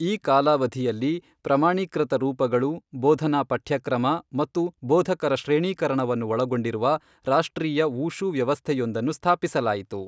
ಈ ಕಾಲಾವಧಿಯಲ್ಲಿ, ಪ್ರಮಾಣೀಕೃತ ರೂಪಗಳು, ಬೋಧನಾ ಪಠ್ಯಕ್ರಮ ಮತ್ತು ಬೋಧಕರ ಶ್ರೇಣೀಕರಣವನ್ನು ಒಳಗೊಂಡಿರುವ ರಾಷ್ಟ್ರೀಯ ವೂಶೂ ವ್ಯವಸ್ಥೆಯೊಂದನ್ನು ಸ್ಥಾಪಿಸಲಾಯಿತು.